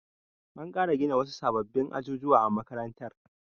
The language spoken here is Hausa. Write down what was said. An ƙara gina wasu sababbin ajujuwa a makarantar.